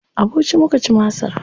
A Bauchi muka ci masar.